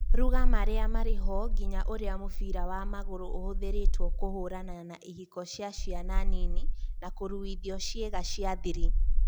ruga marĩa marĩ ho nginya ũrĩa mũbira wa magũrũ ũhũthĩrĩtwo kũhũrana na ihiko cia ciana nini na kũruithio ciĩga cia thiri